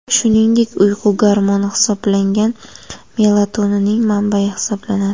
Shuningdek, uyqu gormoni hisoblangan melatoninning manbayi hisoblanadi.